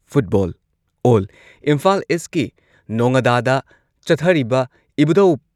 football ꯑꯣꯜ ꯏꯝꯐꯥꯜ ꯏꯁꯀꯤ ꯅꯣꯉꯥꯗꯥꯗ ꯆꯠꯊꯔꯤꯕ ꯏꯕꯨꯙꯧ